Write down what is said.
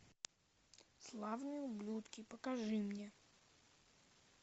славные ублюдки покажи мне